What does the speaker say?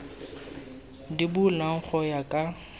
di bulwang go ya ka